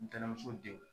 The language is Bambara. Ntɛnɛnmuso denw